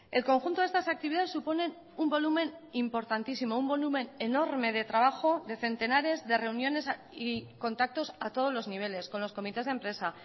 el conjunto de estas actividades suponen un volumen importantísimo un volumen enorme de trabajo de centenares de reuniones y contactos a todos los niveles con los comités de empresa